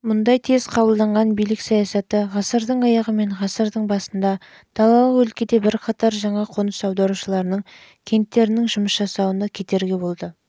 мұндай тез қабылданған билік саясаты ғасырдың аяғы мен ғасырдың басында далалық өлкеде бірқатар жаңа неміс қоныс аударушыларының кенттерінің